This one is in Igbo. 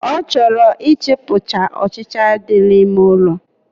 O choro i chupu cha ochicha di na ime ụlọ